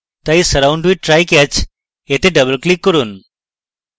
তাই surround with try/catch এ double click করুন